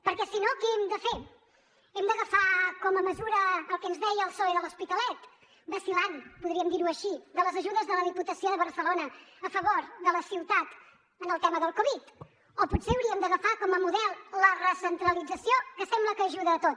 perquè si no què hem de fer hem d’agafar com a mesura el que ens deia el psoe de l’hospitalet vacil·lant podríem dir ho així de les ajudes de la diputació de barcelona a favor de la ciutat en el tema del covid o potser hauríem d’agafar com a model la recentralització que sembla que ajuda a tot